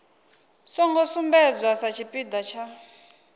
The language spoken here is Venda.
songo sumbedzwa sa tshipiḓa tsha